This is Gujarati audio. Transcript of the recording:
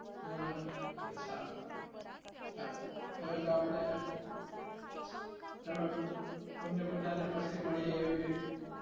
હમ આછા હવે તો આપડે તમે તમને બધા ને પછી મળીયે એવી ,